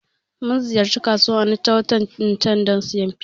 Mun ziyarci kasuwan Onitsha watan can dan siyan fiya